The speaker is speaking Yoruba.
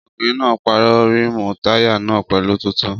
Ọkùnrin náà pàrọ̀ rímùù táyà náà pẹ̀lú tuntun